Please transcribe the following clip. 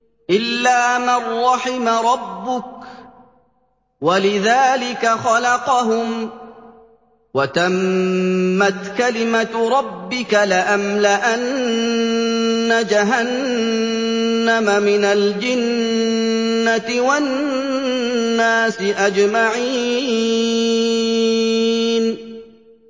إِلَّا مَن رَّحِمَ رَبُّكَ ۚ وَلِذَٰلِكَ خَلَقَهُمْ ۗ وَتَمَّتْ كَلِمَةُ رَبِّكَ لَأَمْلَأَنَّ جَهَنَّمَ مِنَ الْجِنَّةِ وَالنَّاسِ أَجْمَعِينَ